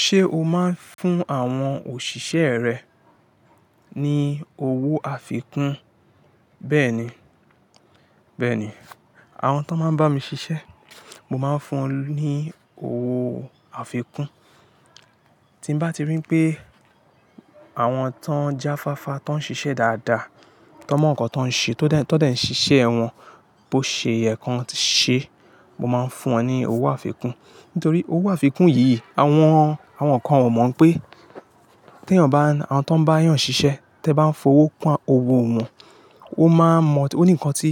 Ṣé o máa ń fún àwọn òṣìṣẹ́ rẹ ní owó àfikún? Bẹ́ẹ̀ni, bẹ́ẹ̀ni. Àwọn tó máa ń bá mi ṣiṣẹ́, mo máa ń fún wọn ní owó àfikún. Tí mo bá ti rí pé àwọn tó ń jáfáfá, tó ń ṣiṣẹ́ dáadáa, tó mọ nǹkan tó ń ṣe, tó dàí ṣiṣẹ́ wọn bó ṣe yẹ kó ṣe, mo máa ń fún wọn ní owó àfikún. Nítorí owó àfikún yìí, àwọn, àwọn kan ò mọ̀ pé tí èèyàn bá, àwọn tó ń bá èèyàn ṣiṣẹ́, tí ẹ bá ń fowó kun owó wọn, ó máa mọ, ó ní nǹkan tí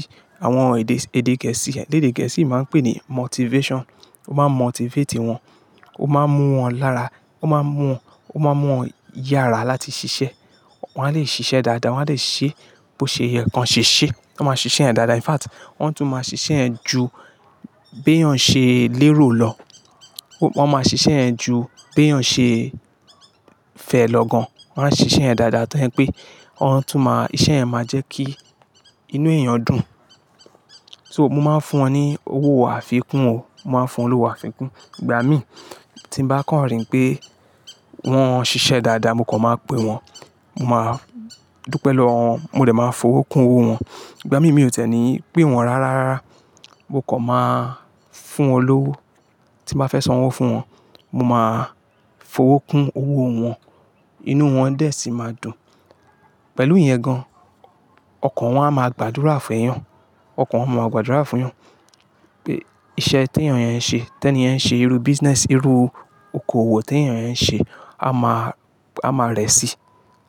àwọn èdè, èdè Gẹ̀ẹ́sì, èdè Gẹ̀ẹ́sì máa ń pè ní motivation. Ó máa motivate wọn, ó máa mú wọn lára, ó máa mú wọn, ó máa mú wọn yára láti ṣiṣẹ́. Wọ́n á lè ṣiṣẹ́ dáadáa, wọ́n á lè ṣe bó ṣe yẹ kó ṣe ṣe. Wọ́n máa ṣiṣẹ́ ẹ dáadáa. In fact, wọ́n tún máa ṣiṣẹ́ ẹ ju bí èèyàn ṣe lérò lọ. Wọ́n máa ṣiṣẹ́ ẹ ju bí èèyàn ṣe fẹ́ lọ gan. Wọ́n á ṣe iṣẹ́ ẹ dáadáa tó ẹni pé wọ́n tún máa, iṣẹ́ ẹ máa jẹ́ kí inú èèyàn dùn. So, mo máa ń fún wọn ní owó àfikún o. Mo máa ń fún wọn lówó àfikún. Ìgbà mí tí mo bá kàn rí pé wọ́n ṣiṣẹ́ dáadáa, mo kàn máa pè wọ́n. Mo máa dúró pẹ̀lú wọn, mo lè máa fowó kún owó wọn. Ìgbà mí, mi ò tẹ́ni pè wọ́n rárá. Mo kàn máa fún wọn lówó. Tí mo bá fẹ́ sọ̀wọ́n fún wọn, mo máa fowó kún owó wọn. Inú wọn dé sí máa dùn. Pẹ̀lú ìyẹn gan, ọkọ wọn a máa gbàdúrà fún èèyàn. Ọkọ wọn máa gbàdúrà fún èèyàn pé iṣẹ́ tí èèyàn yẹn ń ṣe, tí ẹni yẹn ń ṣe irú business, irú okoòwò tí èèyàn yẹn ń ṣe a máa, a máa rẹ̀ sí i.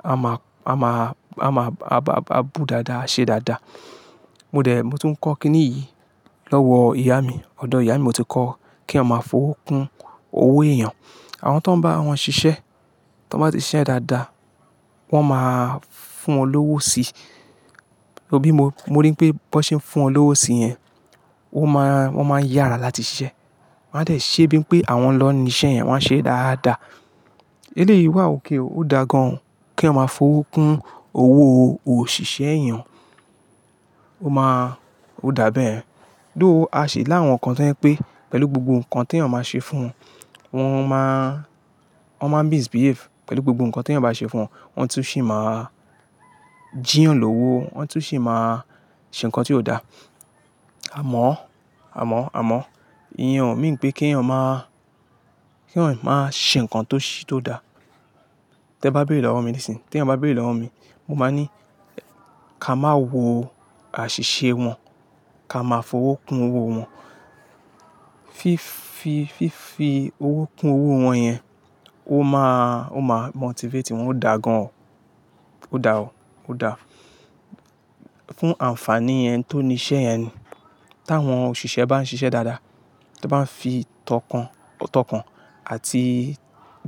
A máa, a máa, a máa, a bá bù dáadáa, ṣe dáadáa. Mo dè, mo tún ń kọ́ kíni yìí lọ́wọ ìyá mi. Odò ìyá mi mo ti kọ́ kí a máa fowó kún owó èèyàn. Àwọn tó ń bá wọn ṣiṣẹ́, tí wọ́n bá ti ṣiṣẹ́ ẹ dáadáa, wọ́n máa fún wọn lówó si. Òbí mi, mo rí pé bó ṣe ń fún wọn lówó sí yẹn, ó máa, wọ́n máa yára láti ṣiṣẹ́. Wọ́n á lè ṣe bíi pé àwọn lọ́ni iṣẹ́ yẹn, wọ́n á ṣe é dáadáa. Ilé yìí wà òkè, ó dágan kí a máa fowó kún owó òṣìṣẹ́ èèyàn. Ó máa, ó dàbí. Dóò a ṣè láwọn kan tí ẹni pé pẹ̀lú gbogbo nǹkan tí èèyàn máa ṣe fún wọn, wọ́n máa, wọ́n máa misbehave. Pẹ̀lú gbogbo nǹkan tí èèyàn bá ṣe fún wọn, wọ́n tún sì máa jí wọn lówó. Wọ́n tún sì máa ṣe nǹkan tí ò da. Àmọ́, àmọ́, àmọ́ ìyẹn, mi rí pé kí èèyàn máa, kí èèyàn máa ṣe nǹkan tó ṣe, tó da. Tí ẹ bá béèrè lọ́wọ́ mi nísìnyí, tí èèyàn bá béèrè lọ́wọ́ mi, mo máa ní ká máa wo àṣìṣe wọn, ká máa fowó kún owó wọn. Fi, fi, fi fi owó kún owó wọn yẹn, ó máa, ó máa motivate wọn. Ó dágan o. Ó dà o. Ó dà. Fún àǹfàní ẹni tó ni iṣẹ́ yẹn ni. Tí àwọn òṣìṣẹ́ bá ń ṣiṣẹ́ dáadáa, tí wọ́n bá ń fi tọkàn, tọkàn àti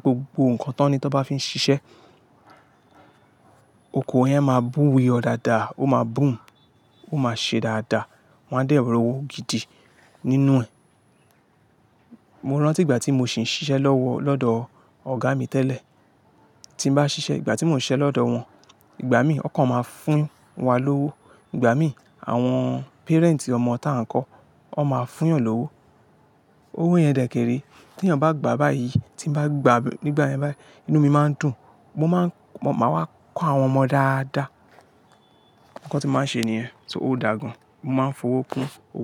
gbogbo nǹkan tó ní tí wọ́n bá fi ń ṣiṣẹ́, oko yẹn máa bùwe ọ dáadáa. Ó máa bù ú, ó máa ṣe dáadáa. Wọn á dẹ̀rù owó gidi nínú ẹ. Mo rántí ìgbà tí mo sì ń ṣiṣẹ́ lọ́wọ́ lọ́dọ̀ ọ̀gá mi tẹ́lẹ̀. Tí mo bá ṣiṣẹ́, ìgbà tí mò ń ṣe lọ́dọ̀ wọn, ìgbà mí ọkọ̀ máa fún wa lówó. Ìgbà mí àwọn parent ọmọ tí à ń kọ́, wọ́n máa fún yà lówó. Owó yẹn dẹ̀kẹ̀rẹ̀. Tí èèyàn bá gbà báyìí, tí mo bá gbà nígbà yẹn báyìí, inú mi máa ń dùn. Mo máa ń, mo máa wá kọ́ àwọn ọmọ dáadáa. Ǹkan tí màá ṣe nìyẹn. So, ó dàgan. Mo máa ń fowó kún owó.